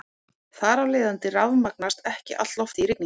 Þar af leiðandi rafmagnast ekki allt loftið í rigningu.